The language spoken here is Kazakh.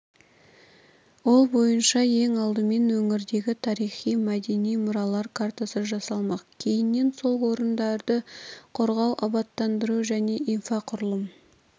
ол бойынша ең алдымен өңірдегі тарихи-мәдени мұралар картасы жасалмақ кейіннен сол орындарды қорғау абаттандыру және инфрақұрылым